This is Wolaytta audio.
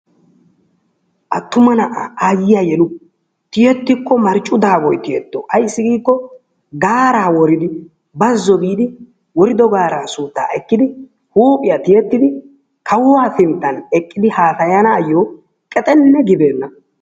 Attuma na"aa aayyiya yelu tiyettikko marccu daaboyi tiyetto. Ayssi giikko gaaraa woridi, bazzo biidi worido gaaraa suuttaa ekkidi huuphiya tiyettidi, kawua sinttan eqqidi haasayanaayyo qexenne gibeenna.